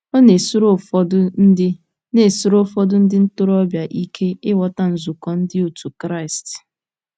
Ọ na-esiri ụfọdụ ndị na-esiri ụfọdụ ndị ntorobịa ike ịghọta nzukọ Ndị òtù Kristi.